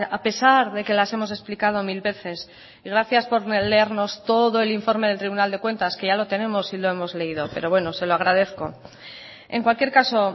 a pesar de que las hemos explicado mil veces y gracias por leernos todo el informe del tribunal de cuentas que ya lo tenemos y lo hemos leído pero bueno se lo agradezco en cualquier caso